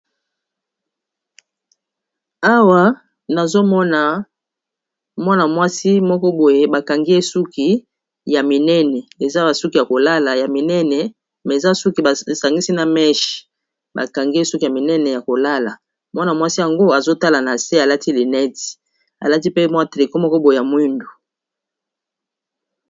Awa nazomona mwana mwasi moko boye bakangi ye suki ya minene eza basuki ya kolala ya minene eza suki basangisi na meshe bakangi ye suki ya minene ya kolala azotala na se alati lunette alati pe mwa tricot moko boye ya mwindu.